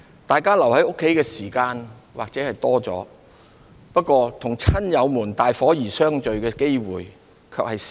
大家留在家中的時間也許多了，與親友們大伙兒相聚的機會卻少了。